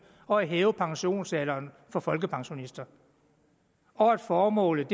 og hæve pensionsalderen for folkepensionister og formålet